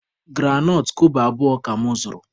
Granọt kobo abụọ ka mụ zụrụ